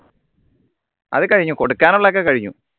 അത് കഴിഞ്ഞു കൊടുക്കാനുള്ളക്കെ കഴിഞ്ഞു